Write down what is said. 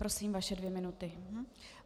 Prosím, vaše dvě minuty.